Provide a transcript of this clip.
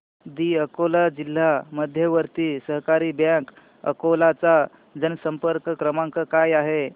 दि अकोला जिल्हा मध्यवर्ती सहकारी बँक अकोला चा जनसंपर्क क्रमांक काय आहे